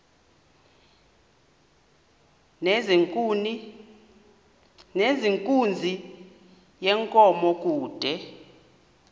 nezenkunzi yenkomo kude